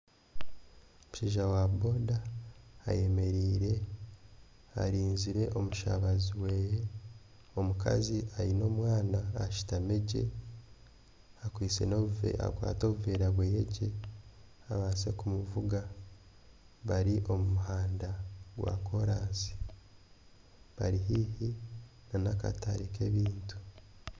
Omushaija wa boda ayemereire arinzire omushabazi we. Omukazi ayine omwana ashutami gye yakwata n'obuvera bwe gye babaasa kumuvuga. Bari omu muhanda gwa korasi bari haihi nana akatare k'ebintu.